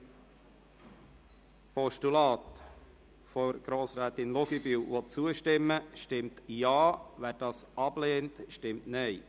Wer dem Postulat von Grossrätin Luginbühl zustimmen will, stimmt Ja, wer dieses ablehnt stimmt Nein.